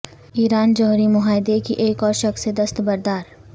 ایران جوہری معاہدے کی ایک اور شق سے دست بردار